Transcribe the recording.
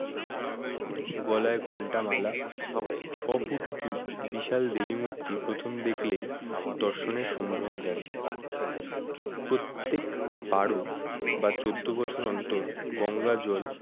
গলায় ঘন্টা মালা ছ ফুট উঁচু বিশালদেবী মূর্তি প্রথম দেখলেই দর্শনের সম্ভ্রম জাগে প্রত্যেক বারো বা চোদ্দ বছর অন্তর গঙ্গাজল